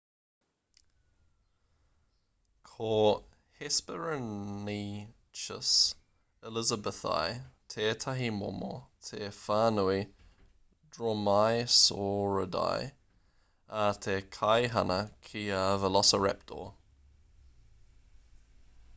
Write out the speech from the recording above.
ko hesperonychus elizabethae tētahi momo o te whānau dromaeosauridae ā he kaihana ki a velociraptor